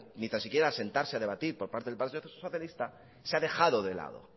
ni tan siquiera a sentarse a debatir por parte del partido socialista se ha dejado de lado